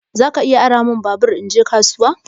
Zaka iya ara min babur in je kasuwa?